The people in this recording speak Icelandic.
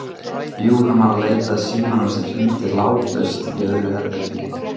Jú, hann var að leita að símanum sem hringdi látlaust í öðru herbergi.